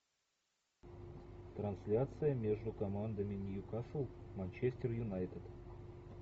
трансляция между командами ньюкасл манчестер юнайтед